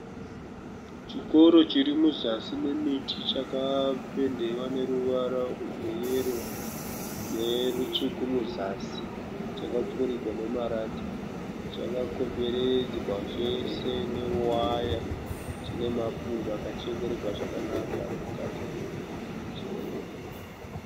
Chikoro chiri muzasi memiti chakapendewa neruvara rweyero netsvuku muzasi chakapfurirwa nemarata. Chakakomberedzwa chese newaya. Chine mapundo akachekererwa zvakanaka ari mukati mechikoro icho.